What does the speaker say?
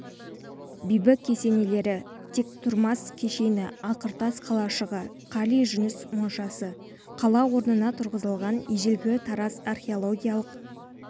бибі кесенелері тектұрмас кешені ақыртас қалашығы қали жүніс моншасы қала орнына тұрғызылған ежелгі тараз археологиялық